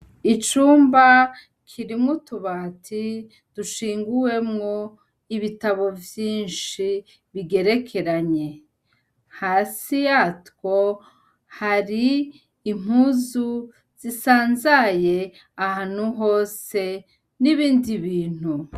Icumba kirimwo utubati dushiguwemwo ibitabo vyinshi bigerekeranye hasi yatwo hari impuzu zisanzaye ahantu hose n'ibindi bintu.